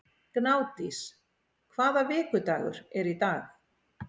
Gnádís, hvaða vikudagur er í dag?